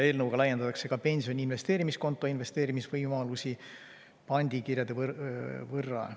Eelnõuga laiendatakse ka pensioni investeerimiskonto investeerimisvõimalusi pandikirjade võrra.